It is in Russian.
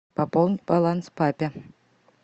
пополнить баланс папе